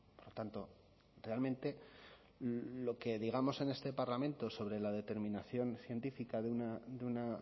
por tanto realmente lo que digamos en este parlamento sobre la determinación científica de una